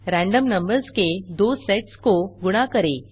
random numbers के दो sets को गुणा करें